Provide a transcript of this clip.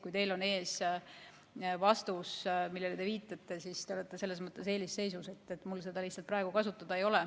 Kui teil on ees vastus, millele te viitate, siis te olete selles mõttes eelisseisus, mul seda lihtsalt praegu kasutada ei ole.